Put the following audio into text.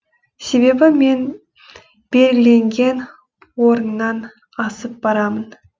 себебі мен белгіленген орыннан асып барамын